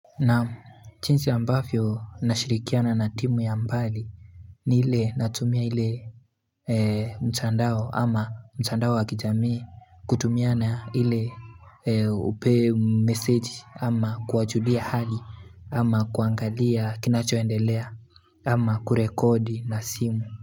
Naam chinsi ambafyo nashirikiana na timu ya mbali ni ile natumia ile mtandao ama mtandao wakijamii kutumiana ile upe message ama kuwajulia hali Ama kuangalia kinachoendelea ama kurekodi na simu.